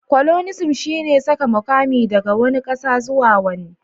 coloniasm shine saka mukami daga wani kasa zuwa wani